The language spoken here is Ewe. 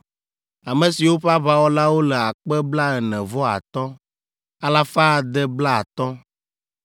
ame siwo ƒe aʋawɔlawo le akpe blaene-vɔ-atɔ̃, alafa ade blaatɔ̃ (45,650).